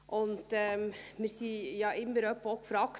Wir wurden ja auch immer mal wieder gefragt: